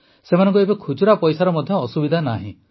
ସେମାନଙ୍କୁ ଏବେ ଖୁଚୁରା ପଇସାର ମଧ୍ୟ ଅସୁବିଧା ନାହିଁ